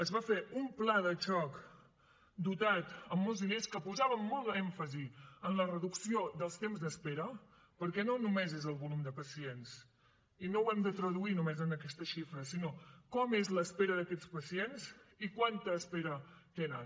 es va fer un pla de xoc dotat amb molts diners que posava molt èmfasi en la reducció dels temps d’espera perquè no només és el volum de pacients i no ho hem de traduir només en aquesta xifra sinó com és l’espera d’aquests pacients i quanta espera tenen